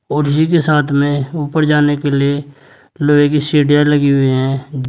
और जी के साथ में ऊपर जाने के लिए लोहे की सीढ़ियां लगी हुई है।